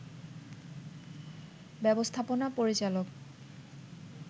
ব্যবস্থাপনা পরিচালক